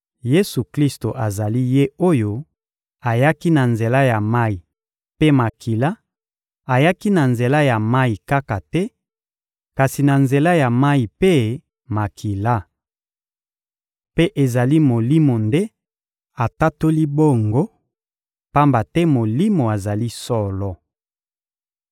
Yesu-Klisto azali Ye oyo ayaki na nzela ya mayi mpe makila; ayaki na nzela ya mayi kaka te, kasi na nzela ya mayi mpe makila. Mpe ezali Molimo nde atatoli bongo, pamba te Molimo azali solo.